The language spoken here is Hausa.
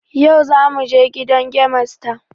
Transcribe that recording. Yau zamu je gidan gemasta